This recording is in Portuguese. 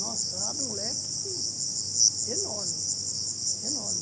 Nossa, abre um leque enorme, enorme.